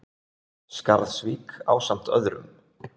Skarðsvík ásamt öðrum.